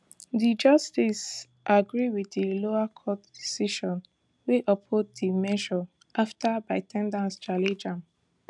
di justices agree wit di lower court decision wey uphold di measure afta bytedance challenge am